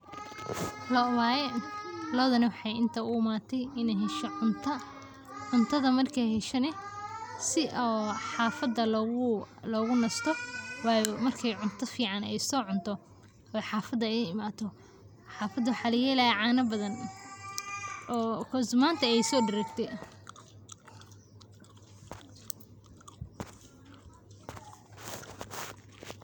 Lo'oo waye, lo'odana waxaay inta uimatey inaay hesho cunta, cuntadha markay hesho nah si oo xafada logunasto waayo marka cunto fican ay so cunto oo xafada ay imato, xafada waxaa lagahelayaa cano bathan oo coz manta ayaay so daragte.